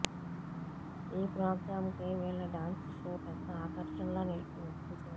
ఈ ప్రోగ్రాంకి వీళ్ళ డాన్స్ షో పెద్ద ఆకర్షణ లా నిలిచింది